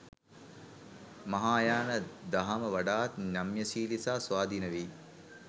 මහායාන දහම වඩාත් නම්‍යශීලී සහ ස්වාධීන වෙයි.